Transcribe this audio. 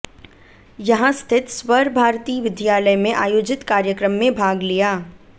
यहां स्थित स्वर भारती विद्यालय में आयोजित कार्यक्रम में भाग लिया